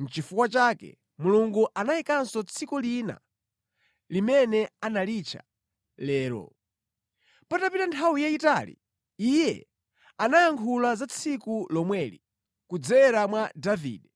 Nʼchifukwa chake Mulungu anayikanso tsiku lina limene analitcha “Lero.” Patapita nthawi yayitali Iye anayankhula za tsiku lomweli kudzera mwa Davide,